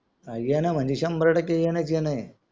येणं म्हणजे संभार टाके येणंच येणं आहे